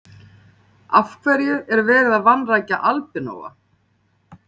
Af hverju er verið að vanrækja albinóa?